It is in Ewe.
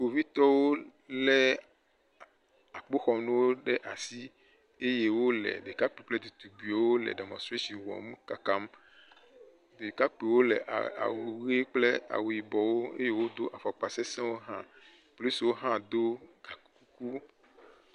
Kpovitɔwo lé akpoxɔnuwo ɖe asi eye wole ɖekakpuiwo kple ɖetugbiwo le dɛmɔ̃treshini wɔm kakam. Ɖekakpiwo le awu ʋe kple awu yibɔwo eye wodo afɔkpa sesẽwo hã. Polisiwo hã do gakuku.